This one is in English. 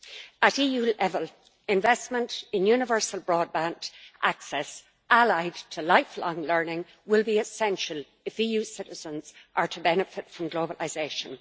At EU level, investment in universal broadband access allied to lifelong learning will be essential if EU citizens are to benefit from globalisation.